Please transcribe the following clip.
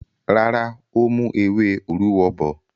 Rárá, ó mú ewé òrúwọ bọ̀.